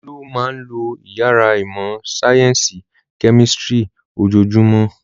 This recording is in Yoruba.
Olú máa ń lo ìyàrá ìmọ̀-sáyẹ́ńsì kẹ́mísítírì ojoojúmọ́.